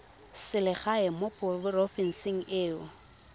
selegae mo porofenseng e o